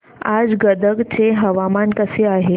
आज गदग चे हवामान कसे आहे